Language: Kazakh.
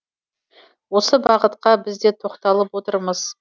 осы бағытқа біз де тоқталып отырмыз